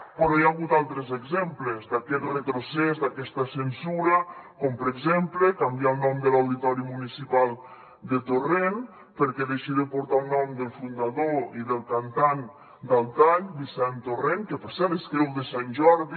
però hi ha hagut altres exemples d’aquest retrocés d’aquesta censura com per exemple canviar el nom de l’auditori municipal de torrent perquè deixi de portar el nom del fundador i del cantant d’al tall vicent torrent que per cert és creu de sant jordi